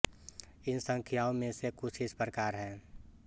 इन संख्याओं में से कुछ इस प्रकार हैं